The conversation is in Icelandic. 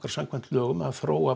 samkvæmt lögum að þróa